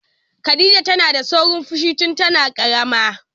Khadija tana da saurin fushi tun tana ƙarama.